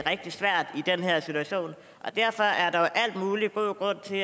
rigtig svært derfor er der jo al mulig god grund til at